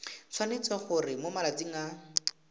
tshwanetse gore mo malatsing a